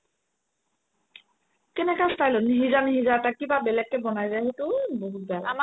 কেনেকা style ত নিসিজা নিসিজা এটা কিবা বেলেগকে বনাই যে সেইটো বহুত বেয়া লাগে